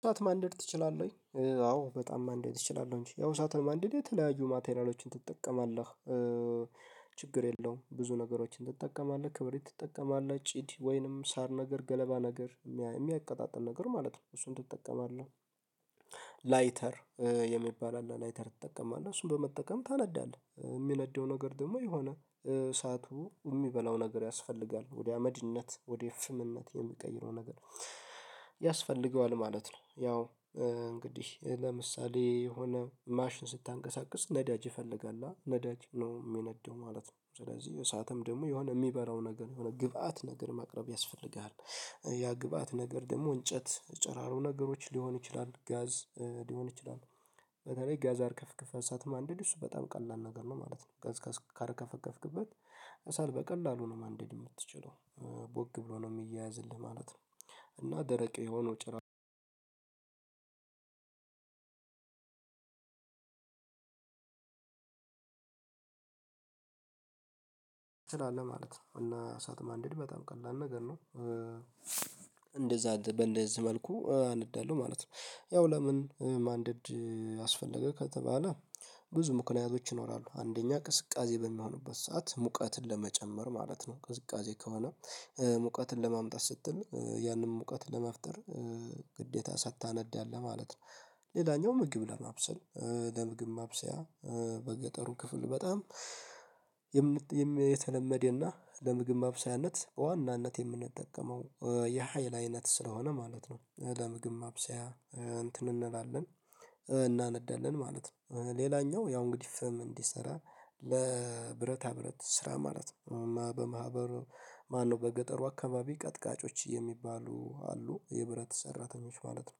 እሳት ማንደድ ትችላለህ? አዎ በጣም ማንደድ ትችላለህ እንጂ ያው እሳትን ማንደድ የተለያዩ ማቴሪያሎችን ትጠቀማለህ። ችግር የለውም ብዙ ነገሮችን ትጠቀማለህ ክብሪት ትጠቀማለህ ጭድ ወይንም ሳር ነገር ገለባ ነገር የሚያቀጣጥል ነገር ማለት ነው እሱን ትጠቀማለህ። ላይተር የሚባል አለ ላይተር ትጠቀማለህ እሱን በመጠቀም ታነዳለህ የሚነደው ነገር ደግሞ የሆነ እሳቱ የሚበላው ነገር ያስፈልጋል ወደ አመድነት ወደ ፍምነት የሚቀይረው ነገር ያስፈልገዋል ማለት ነው። ያው እንግዲህ ለምሳሌ የሆነ ማሽን ስታንቀሳቅስ ነዳጅ ይፈልጋል ነዳጅ ነው የሚነደው ማለት ነው። ስለዚህ እሳትም ደግሞ የሆነ የሚበራው ነገር የሆነ ግብአት ነገር ማቅረብ ያስፈልጋል። ያ ግብአት ነገር ደግሞ እንጨት ጨራሮ ነገሮች ሊሆን ይችላል ጋዝ ሊሆን ይችላል። በተለይ ጋዝ አርከፍክፈህ እሳት ማንደድ እሱ በጣም ቀላል ነገር ነው ማለት ነው። ጋዝ ካርከፈከፍክበት ከሰል በቀላሉ ነው ማንደድ የምትችለው ቦግ ብሎ ነው የሚያያዝልህ ማለት ነው። እና ደረቅ የሆነው ጭራሮ ትላለህ ማለት ነው። እና እሳት ማንደድ በጣም ቀላል ነገር ነው። እንደዛ በእንደዚህ መልኩ አነዳለሁ ማለት ነው። ያው ለምን ማንደድ አስፈልገ ከተባለ ብዙ ምክንያቶች ይኖራሉ። አንደኛ ቅዝቃዜ በሚሆንበት ሰዓት ሙቀትን ለመጨመር ማለት ነው። ቅዝቃዜ ከሆነ ሙቀትን ለማምጣት ስትል ያንን ሙቀትን ለመፍጠር ግዴታ እሳት ታነዳለህ ማለት ነው። ሌላኛው ምግብ ለማብሰል ለምግብ ማብሰያ በገጠሩ ክፍል በጣም የተለመደና ለምግብ ማብሰያነት በዋናነት የምንጠቀመው የሀይል አይነት ስለሆነ ማለት ነው። ለምግብ ማብሰያ እንትን እንላለን እናነዳለን ማለት ነው። ሌላኛው ያው እንግዲህ ፍም እንዲሰራ ለብረታ ብረት ስራ ማለት ነው በማህበሩ ማነው በገጠሩ አካባቢ ቀጥቃጮች የሚባሉ አሉ የብረት ሰራተኞች ማለት ነው።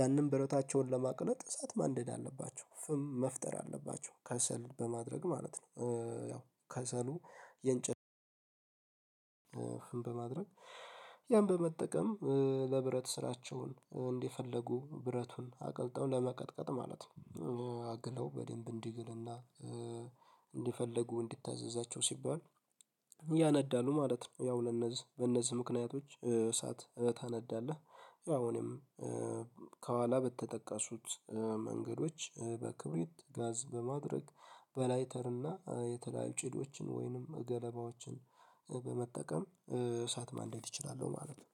ያንን ብረታቸውን ለማቅለጥ እሳት ማንደድ አለባቸው ፍም መፍጠር አለባቸው ከሰል በማድረግ ማለት ነው። ያው ከሰሉ የእንጨት ፍም በማድረግ ያን በመጠቀም ለብረት ስራቸውን እንደፈልጉ ብረቱን አቅልጠው ለመቀጥቀጥ ማለት ነው አግለው በደንብ እንዲግልና እንደፈለጉ እንዲታዘዛቸው ሲባል ያነዳሉ ማለት ነው። ያው ለነዚህ በነዚህ ምክንያቶች እሳት ታነዳለህ ያው እኔም ከኋላ በተጠቀሱት መንገዶች በክብሪት ጋዝ በማድረግ በላይተር እና የተለያዩ ጭዶችን ወይንም ገለባዎችን በመጠቀም እሳት ማንደድ ይችላሉ ማለት ነው።